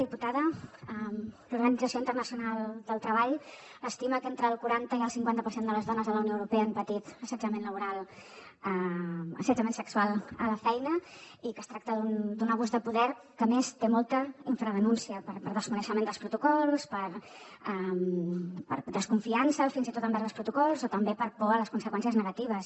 diputada l’organització internacional del treball estima que entre el quaranta i el cinquanta per cent de les dones a la unió europea han patit assetjament sexual a la feina i que es tracta d’un abús de poder que a més té molta infradenúncia per desconeixement dels protocols per desconfiança fins i tot envers els protocols o també per por a les conseqüències negatives